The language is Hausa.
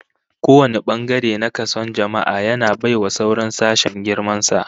Kowane bangare na kason jama'a, yana bai wa sauran sashen girman sa